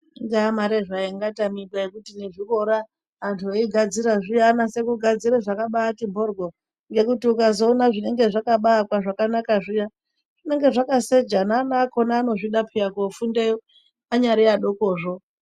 Ingaa mare zvayo ingatamika yekuti nezvikora antu eigadzira zviya anase kugadzira zvakabati mhoryo ngekuti ukazoona zvakabaakwa zvakanaka zviya zvinenge zvakaseja neana akhona anozvida pheya kofundeyo anyari adokozvo.